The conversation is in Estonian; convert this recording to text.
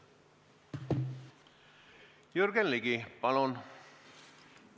Jürgen Ligi, palun!